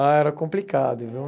Ah, era complicado, viu?